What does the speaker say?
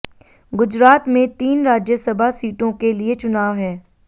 गुजरात में तीन राज्यसभा सीटों के लिए चुनाव है